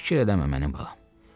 Fikir eləmə, mənim balam.